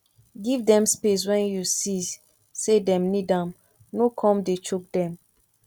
give dem space when you see sey dem need am no come dey choke dem